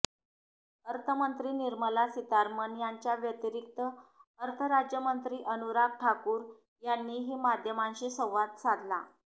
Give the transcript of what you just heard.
अर्थमंत्री निर्मला सीतारमण यांच्या व्यतिरिक्त अर्थ राज्यमंत्री अनुराग ठाकूर यांनीही माध्यमांशी संवाद साधला